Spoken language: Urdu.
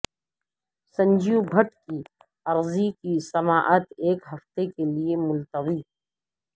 سنجیو بھٹ کی عرضی کی سماعت ایک ہفتہ کے لئے ملتوی